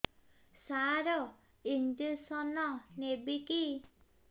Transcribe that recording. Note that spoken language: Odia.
ସାର ଇଂଜେକସନ ନେବିକି